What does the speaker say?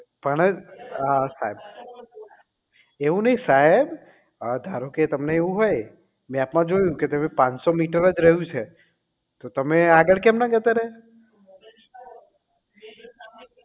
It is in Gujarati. પણ હા સાહેબ એવું નહીં સાહેબ હવે ધારો કે તમને એવું હોય મેપ માં જોયું કે તમે પાનસો મીટર જ રહ્યું છે તો તમે આગળ કેમ ના જતા રહ્યા